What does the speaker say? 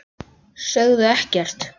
Sögðu ekkert.